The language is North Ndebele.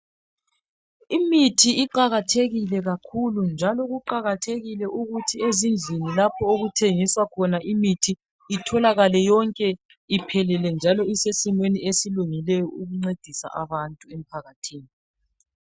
Imithi iqakathekile kakhulu njalo kuqakathekile ukuthi ezindlini okuthengiswa khona imithi itholakale yonke iphelele njalo isesimeni esilingileyo ukuncedisa abantu emphakathini.